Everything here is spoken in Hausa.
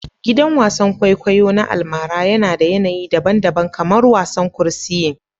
Gidan wasan kwaikwayo na almara yana da yanayi daban-daban kamar wasan kursiyin